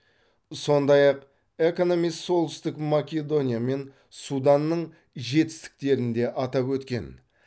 сондай ақ экономист солтүстік македония мен суданның жетістіктерін де атап өткен